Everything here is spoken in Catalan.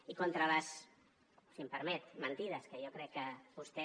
i contra les si m’ho permet mentides que jo crec que vostè